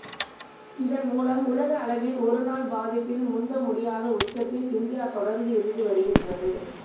இதன் மூலம் உலக அளவில் ஒரு நாள் பாதிப்பில் முந்த முடியாத உச்சத்தில் இந்தியா தொடர்ந்து இருந்து வருகிறத